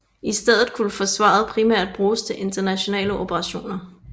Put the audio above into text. I stedet skulle Forsvaret primært bruges til internationale operationer